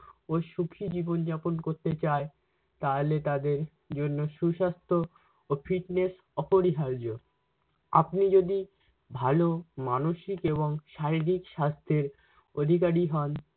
ও সুখী জীবনযাপন করতে চায় তাওলে তাদের জন্য সুস্বাস্থ ও fitness অপরিহার্য। আপনি যদি ভালো মানসিক এবং শারীরিক সাস্থের অধিকারী হন